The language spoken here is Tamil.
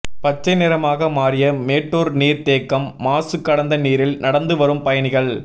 பச்சை நிறமாக மாரிய மேட்டூா் நீா் தேக்கம் மாசு கலந்த நீரில் நடந்துவரும் பயணிகள்